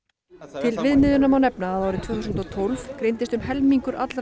til viðmiðunar má nefna að árið tvö þúsund og tólf greindist um helmingur allra